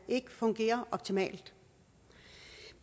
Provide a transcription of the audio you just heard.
ikke fungerer optimalt